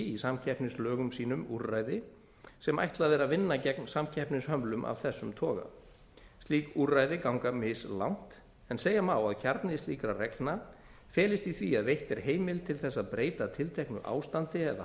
í samkeppnislögum sínum úrræði sem ætlað er vinna gegn samkeppnishömlum af þessum toga slík úrræði ganga mislangt en segja má að kjarni slíkra reglna felist í því að veitt er heimild til þess að breyta tilteknu ástandi eða